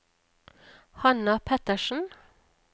Hanna Pettersen